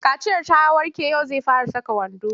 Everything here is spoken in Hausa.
Kaciyar ta warke yau zai fara saka wando.